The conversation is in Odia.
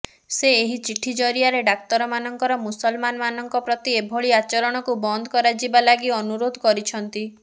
ସେ ଏହି ଚିଠି ଜରିଆରେ ଡାକ୍ତରମାନଙ୍କର ମୁସଲମାନମାନଙ୍କ ପ୍ରତି ଏଭଳି ଆଚରଣକୁ ବନ୍ଦ କରାଯିବ ଲାଗି ଅନୁରୋଧ କରିଛନ୍ତି